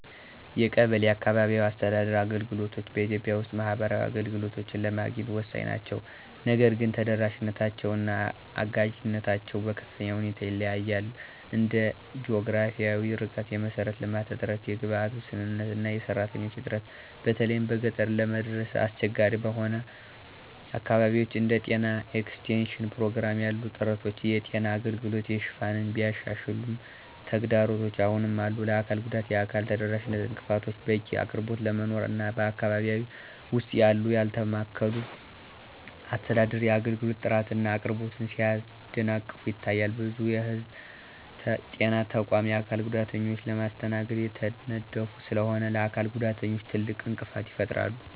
የቀበሌ (አካባቢያዊ አስተዳደር) አገልግሎቶች በኢትዮጵያ ውስጥ ማህበራዊ አገልግሎቶችን ለማግኘት ወሳኝ ናቸው። ነገር ግን ተደራሽነታቸው እና አጋዥነታቸው በከፍተኛ ሁኔታ ይለያያል እንደ ጂኦግራፊያዊ ርቀት፣ የመሰረተ ልማት እጥረት፣ የግብዓት ውስንነት እና የሰራተኞች እጥረት በተለይም በገጠር ለመድረስ አስቸጋሪ በሆኑ አካባቢዎች። እንደ ጤና ኤክስቴንሽን ፕሮግራም ያሉ ጥረቶች የጤና አገልግሎት ሽፋንን ቢያሻሽሉም ተግዳሮቶች አሁንም አሉ፣ ለአካል ጉዳተኞች የአካል ተደራሽነት እንቅፋቶች፣ በቂ አቅርቦት አለመኖር እና በአካባቢው ውስጥ ያለው ያልተማከለ አስተዳደር የአገልግሎት ጥራትን እና አቅርቦትን ሲያደናቅፉ ይታያሉ። ብዙ የህዝብ ጤና ተቋማት የአካል ጉዳተኞችን ለማስተናገድ የተነደፉ ስላልሆኑ ለአካል ጉዳተኞች ትልቅ እንቅፋት ይፈጥራሉ።